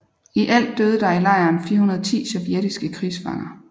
I alt døde der i lejren 410 sovjetiske krigsfanger